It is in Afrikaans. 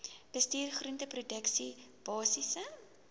bestuur groenteproduksie basiese